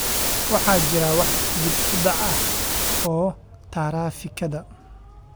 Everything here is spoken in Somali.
waxaa jira wax dib u dhac ah oo taraafikada